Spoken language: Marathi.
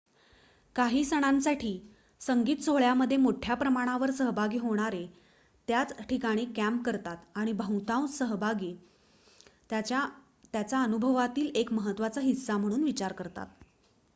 काही सणांसाठी संगीत सोहळ्यामध्ये मोठ्या प्रमाणावर सहभागी होणारे त्याच ठिकाणी कॅम्प करतात आणि बहुतांश सहभागी त्याचा अनुभवातील एक महत्त्वाचा हिस्सा म्हणून विचार करतात